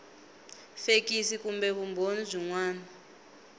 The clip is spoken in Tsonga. fekisi kumbe vumbhoni byin wana